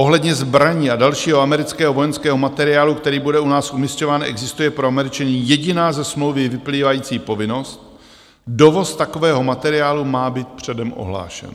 Ohledně zbraní a dalšího amerického vojenského materiálu, který bude u nás umisťován, existuje pro Američany jediná ze smlouvy vyplývající povinnost: dovoz takového materiálu má být předem ohlášen.